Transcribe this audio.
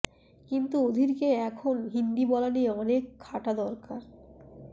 কিন্তু অধীরকে এখন হিন্দি বলা নিয়ে অনেক খাটা দরকার